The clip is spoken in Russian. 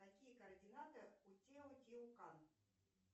какие координаты у тео тео кан